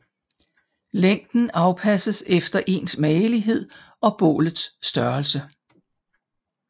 Længden afpasses efter ens magelighed og bålets størrelse